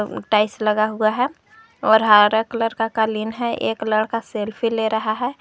और टाइल्स लगा हुआ है और हरा कलर का कालीन है एक लड़का सेल्फी ले रहा है।